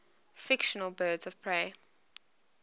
fictional birds of prey